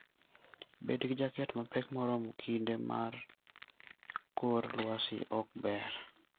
Bed gi jaket mapek moromo kinde ma kor lwasi ok ber.